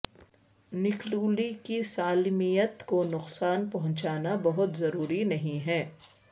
نکلولی کی سالمیت کو نقصان پہنچانا بہت ضروری نہیں ہے